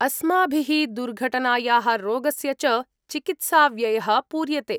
अस्माभिः दुर्घटनायाः रोगस्य च चिकित्साव्ययः पूर्यते।